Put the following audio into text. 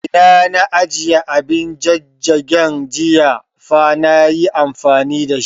Ina na ajiye abin jajjagin, jiya fa nayi amfani da shi